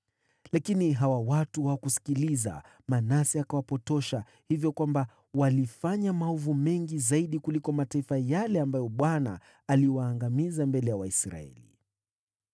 Lakini hawa watu hawakusikiliza. Manase akawapotosha, hivyo kwamba walifanya maovu mengi kuliko mataifa ambayo Bwana aliyaangamiza mbele ya Waisraeli.